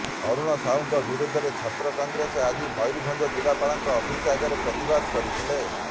ଅରୁଣ ସାହୁଙ୍କ ବିରୋଧରେ ଛାତ୍ର କଂଗ୍ରେସ ଆଜି ମୟୂରଭଞ୍ଜ ଜିଲ୍ଲାପାଙ୍କ ଅଫିସ ଆଗରେ ପ୍ରତିବାଦ କରିଥିଲା